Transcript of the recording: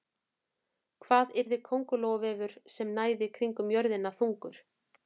Hvað yrði köngulóarvefur sem næði kringum jörðina þungur?